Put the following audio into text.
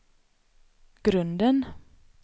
grunden